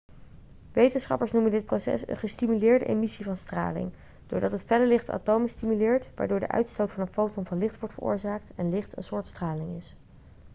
wetenschappers noemen dit proces een gestimuleerde emissie van straling' doordat het felle licht de atomen stimuleert waardoor de uitstoot van een foton van licht wordt veroorzaakt en licht een soort straling is